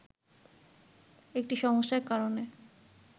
একটি সমস্যার কারণে